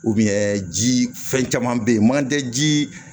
ji fɛn caman bɛ yen manje ji